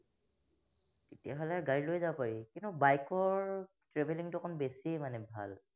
তেতিয়া হলে গাড়ী লৈ যাব পাৰি। কিন্তু bike ৰ traveling টো অকমান বেছি মানে ভাল